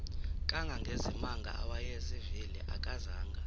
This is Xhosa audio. kangangezimanga awayezivile akazanga